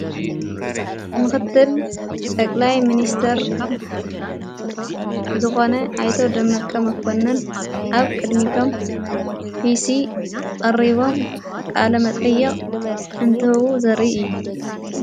ምኽትል ጠቕላይ ምንስተር ዝኾነ ኣይተወ ደመቀ መኮንን ኣብ ቅድሚቶም ጲሢ ዕሪቦም ቃለ መጠየቕ እንትህቡ ዘሪ እየ።